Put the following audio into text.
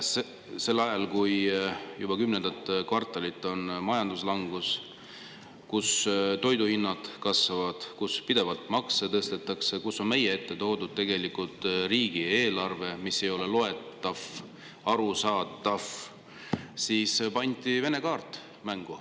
Sel ajal, kui juba kümnendat kvartalit on majanduslangus, kus toiduhinnad kasvavad, kus pidevalt makse tõstetakse, kus meie ette on toodud riigieelarve, mis ei ole loetav, arusaadav, pandi Vene kaart mängu.